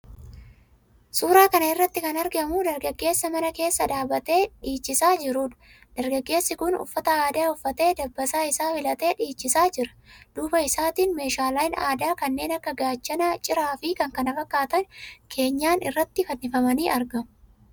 Suuraa kana irratti kan argamu dargaggeessa mana keessa dhaabbatee dhiichisaa jiruudha. Dargaggeessi kun uffata aadaa uffatee dabbasaa isaa filatee dhiichisaa jira. Duuba isaatiin meeshaaleen aadaa kanneen akka gaachana, ciraafi kan kana fakkaatan keenyan irratti fannifamanii argamu.